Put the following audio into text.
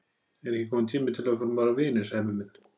Er ekki kominn tími til að við förum að vera vinir, Sæmi minn?